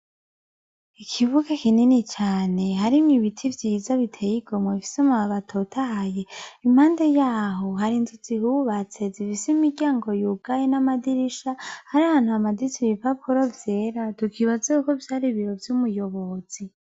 ikibuga kinini cane harimwo ibiti vyiza biteye igomwe bifise amababi atotahaye , impande yaho hari inzu zihubatse zifise imiryango yugaye n'amadirisha , hariho ahantu hamaditse ibipapuro vyera tukibaza ko vayri ibiro vy'umuyobozi .